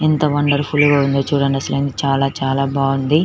ఎంత wonderful గా ఉన్నాయి చుడండి.అసలు ఇన్-చాలా చాలా బాగుంది.